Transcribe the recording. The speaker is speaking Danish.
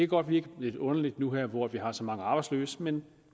godt virke lidt underligt nu her hvor vi har så mange arbejdsløse men